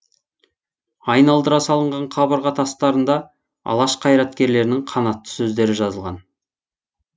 айналдыра салынған қабырға тастарында алаш қайраткерлерінің қанатты сөздері жазылған